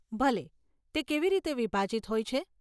ભલે, તે કેવી રીતે વિભાજીત હોય છે?